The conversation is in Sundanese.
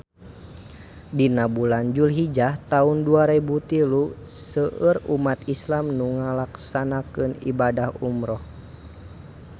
Dina bulan Julhijah taun dua rebu tilu seueur umat islam nu ngalakonan ibadah umrah